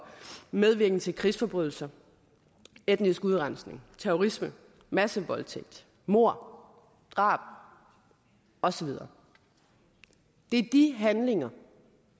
medvirken til krigsforbrydelser etnisk udrensning terrorisme massevoldtægt mord drab og så videre det er de handlinger